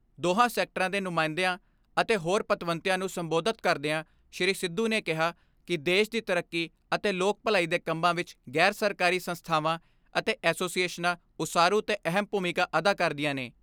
ਦੋਹਾਂ ਸੈਕਟਰਾਂ ਦੇ ਨੁਮਾਇੰਦਿਆਂ ਅਤੇ ਹੋਰ ਪਤਵੰਤਿਆਂ ਨੂੰ ਸੰਬੋਧਤ ਕਰਦਿਆਂ ਸ੍ਰੀ ਸਿੱਧੂ ਨੇ ਕਿਹਾ ਕਿ ਦੇਸ਼ ਦੀ ਤਰੱਕੀ ਅਤੇ ਲੋਕ ਭਲਾਈ ਦੇ ਕੰਮਾਂ ਵਿਚ ਗ਼ੈਰ ਸਰਕਾਰੀ ਸੰਸਥਾਵਾਂ ਅਤੇ ਐਸੋਸੀਏਸ਼ਨਾਂ ਉਸਾਰੂ ਤੇ ਅਹਿਮ ਭੂਮਿਕਾ ਅਦਾ ਕਰਦੀਆਂ ਨੇ।